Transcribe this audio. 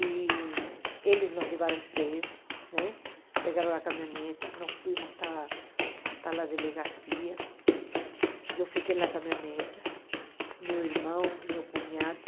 E eles nos levaram presos, né pegaram a caminhoneta, nós fomos até até a delegacia, eu fiquei na caminhoneta, meu irmão, meu cunhado,